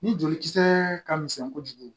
Ni jolikisɛ ka misɛn kojugu